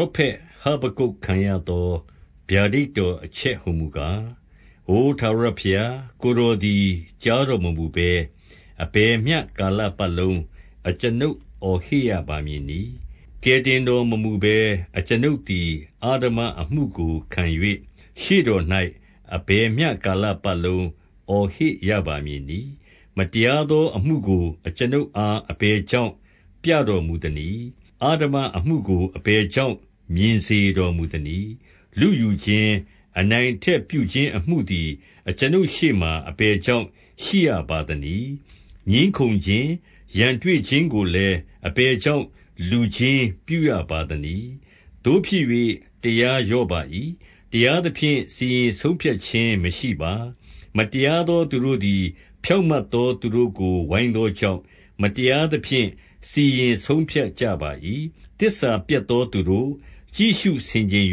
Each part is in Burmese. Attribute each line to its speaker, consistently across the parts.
Speaker 1: ောဖက်ဟဗက္ကုတ်ခံရသော ဗျာဒိတ်တော် အချက်ဟူမူကား၊ အို ထာဝရဘုရား၊ ကိုယ်တော်သည် ကြားတော် မမူဘဲ၊ အဘယ်မျှကာလပတ်လုံး အကျွန်ုပ်အော်ဟစ်ရပါ မည်နည်း။ ကယ်တင်တော်မမူဘဲ အကျွန်ုပ်သည် အဓမ္မ အမှုကို ခံ၍၊ ရှေ့တော်၌ အဘယ်မျှကာလပတ်လုံး အော် ဟစ်ရပါမည်နည်း။ မတရားသောအမှုကို အကျွန်ုပ်အား အဘယ် ကြောင့်ပြတော်မူသနည်း။ အဓမ္မအမှုကို အဘယ်ကြောင့် မြင်စေတော်မူသနည်း။ လုယူခြင်း၊ အနိုင်အထက်ပြုခြင်း အမှုသည် အကျွန်ုပ်ရှေ့မှာ အဘယ်ကြောင့် ရှိရပါသ နည်း။ ငြင်းခုံခြင်း၊ ရန်တွေ့ခြင်းကိုလည်း အဘယ်ကြောင့် လူချင်းပြုရပါသနည်း။ သို့ဖြစ်၍ တရားလျော့ပါ၏။ တရားသဖြင့် စီရင် ဆုံးဖြတ်ခြင်းမရှိပါ။ မတရားသော သူတို့သည် ဖြောင့် မတ်သောသူတို့ကို ဝိုင်းသောကြောင့်၊ မတရားသဖြင့် စီရင် ဆုံးဖြတ်ကြပါ၏။ သစ္စာပျက်သောသူတို့၊ ကြည့်ရှုဆင်ခြင်၍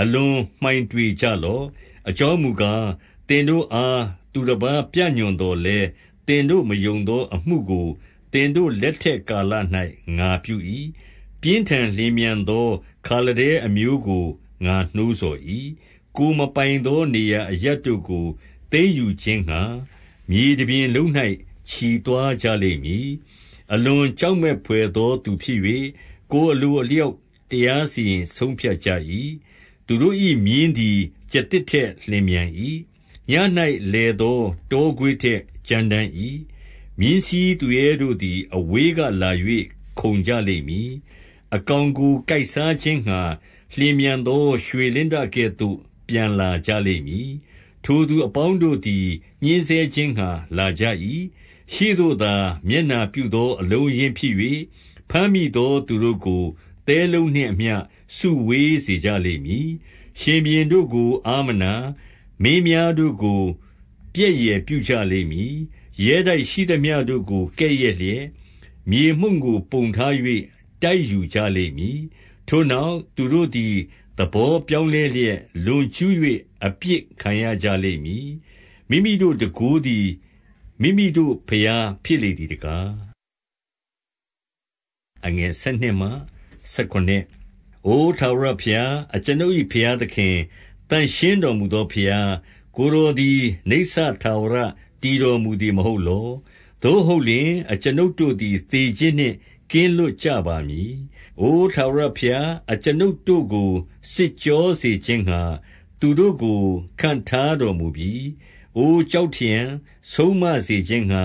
Speaker 1: အလွန်မှိုင်တွေကြလော့။ အကြောင်းမူကား၊ သင်တို့အား သူတပါး ပြညွှန်သော်လည်း သင်တို့ မယုံသော အမှုကို သင်တို့လက်ထက်ကာလ၌ ငါပြု၏။ ပြင်းထန်လျင်မြန်သော ခါလဒဲအမျိုးကို ငါနှိုး ဆော်၏။ ကိုယ်မပိုင်သော နေရာအရပ်တို့ကို သိမ်းယူ ခြင်းငှါ မြေတပြင်လုံး၌ ချီသွားကြလိမ့်မည်။ အလွန်ကြောက်မက်ဘွယ်သော သူဖြစ်၍ ကိုယ် အလိုအလျောက်တရားစီရင်ဆုံးဖြတ်ကြ၏။ သူတို့၏ မြင်းသည် ကျားသစ်ထက် လျင်မြန်၏။ ညဉ့်၌ လည်သော တောခွေးထက် ကြမ်းတမ်း၏။ မြင်းစီး သူရဲတို့သည် အဝေးကလာ၍ ခုန်ကြလိမ့်မည်။ အကောင် ကို ကိုက်စားခြင်းငှါ လျင်မြန်သော ရွှေလင်းတကဲ့သို့ ပျံ လာကြလိမ့်မည်။ ထိုသူအပေါင်းတို့သည် ညှဉ်းဆဲခြင်းငှါ လာကြ ၏။ ရှေ့သို့သာ မျက်နှာပြုသော အလုံးအရင်းဖြစ်၍၊ ဘမ်း မိသောသူတို့ကို သဲလုံးနှင့်အမျှ စုဝေးစေကြလိမ့်မည်။ ရှင်ဘုရင်တို့ကို အားမနာ၊ မင်းများတို့ကို ပြက် ယယ်ပြုကြလိမ့်မည်။ ရဲတိုက်ရှိသမျှတို့ကို ကဲ့ရဲ့လျက်၊ မြေ မှုန့်ကို ပုံထား၍ တိုက်ယူကြလိမ့်မည်။ ထိုနောက် သူတို့သည် သဘောပြောင်းလဲလျက် လွန်ကျူး၍ အပြစ်ခံရကြလိမ့်မည်။ မိမိတို့ တန်ခိုးသည် မိမိတို့ ဘုရားဖြစ်လေသည်တကား။ အို ထာဝရဘုရား၊ အကျွန်ုပ်၏ဘုရားသခင်၊ သန့်ရှင်းတော်မူသောဘုရား၊ ကိုယ်တော်သည် နိစ္စထာဝရ တည်တော်မူသည်မဟုတ်လော။ သို့ဟုတ်လျှင်၊ အကျွန်ုပ် တို့သည် သေခြင်းနှင့် ကင်းလွတ်ကြပါမည်။ အိုထာဝရ ဘုရား၊ အကျွန်ုပ်တို့ကို စစ်ကြောခြင်းငှါ သူတို့ကို ခန့်ထား တော်မူပြီ။ အိုကျောက်ထရံ၊ ဆုံးမစေခြင်းငှါ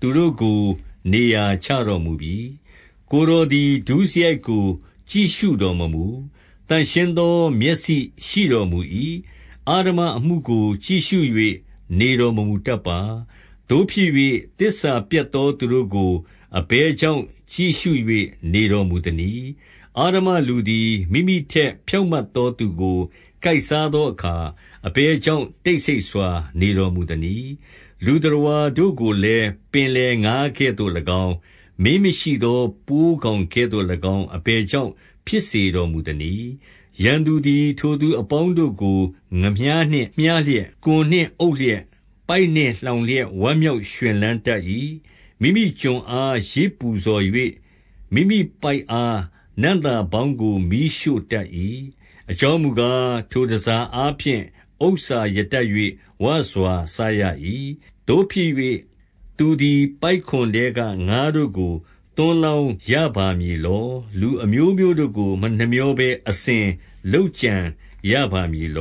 Speaker 1: သူတို့ကို နေရာချတော်မူပြီ။ ကိုယ်တော်သည် ဒုစရိုက်ကို ကြည့်ရှုတော်မမူ။ သန့်ရှင်းသော မျက်စိရှိတော်မူ၏။ အဓမ္မအမှုကို ကြည့်ရှု ၍ နေတော်မမူတတ်ပါ။ သို့ဖြစ်၍၊ သစ္စာပျက်သော သူတို့ ကို အဘယ်ကြောင့် ကြည့်ရှု၍ နေတော်မူသနည်း။ အဓမ္မ လူသည် မိမိထက်ဖြောင့်မတ်သောသူကို ကိုက်စားသော အခါ၊ အဘယ်ကြောင့် တိတ်ဆိတ်စွာ နေတော်မူသနည်း။ လူသတ္တဝါတို့ကိုလည်း ပင်လယ်ငါးကဲ့သို့၎င်း၊ မင်းမရှိသော ပိုးကောင်ကဲ့သို့၎င်း အဘယ်ကြောင့် ဖြစ် စေတော်မူသနည်း။ ရန်သူသည် ထိုသူအပေါင်းတို့ကို ငါးမျှားနှင့် မျှား လျက်၊ ကွန်နှင့်အုပ်လျက်၊ ပိုက်နှင့်လှောင်လျက် ဝမ်း မြောက်ရွှင်လန်းတတ်၏။ မိမိကွန်အား ယဇ်ပူဇော်၍၊ မိမိပိုက်အား နံ့သာ ပေါင်းကို မီးရှို့တတ်၏။ အကြောင်းမူကား၊ ထိုတန်ဆာ အားဖြင့် ဥစ္စာရတတ်၍ ဝစွာစားရ၏။ သို့ဖြစ်၍၊ သူသည် ပိုက်ကွန်ထဲက ငါးတို့ကို သွန်း လောင်းရပါမည်လော။ လူအမျိုးမျိုးတို့ကို မနှမြောဘဲ အစဉ်လုပ်ကြံရပါမည်လ